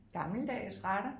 Gammeldags retter